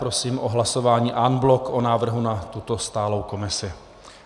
Prosím o hlasování en bloc o návrhu na tuto stálou komisi.